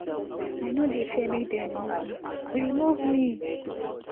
i no dey fear make dem remove me remove me